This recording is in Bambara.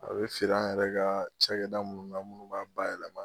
A be feere an yɛrɛ ka cɛkɛda mun na munnu b'a bayɛlɛma